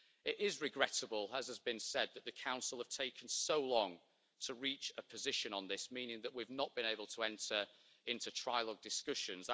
It is regrettable, as has been said, that the Council has taken so long to reach a position on this, meaning that we have not been able to enter into trilogue discussions.